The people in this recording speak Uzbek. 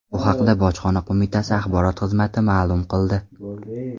Bu haqda Bojxona qo‘mitasi axborot xizmati ma’lum qildi .